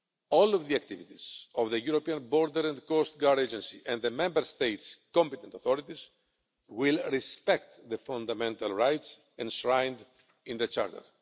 All of the activities of the European Border and Coast Guard Agency and the Member States' competent authorities will respect the fundamental rights enshrined in the Charter.